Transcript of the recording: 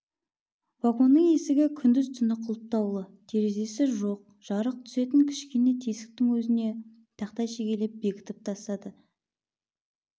вагонның есігі күндіз-түні құлыптаулы терезесі жоқ жарық түсетін кішкене тесіктің өзіне тақтай шегелеп бекітіп тастады вагон